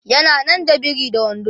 yana nan da biri da wando